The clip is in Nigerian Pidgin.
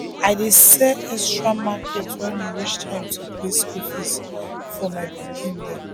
i dey sell extra market when e reach time to pay school fees for my pikin dem